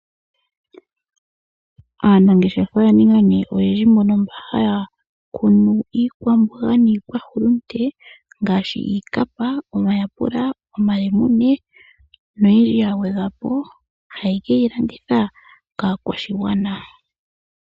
Aanangeshefa oya ninga nduno oyendji mbono mba haya kunu iikwamboga niihulunde ngaashi iikapa, omayapula, omalemune na yilwe ya gwedhwapo haye ke yi landitha kaa kwashigwana.